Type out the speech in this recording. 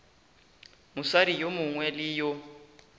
mosadi yo mongwe le yo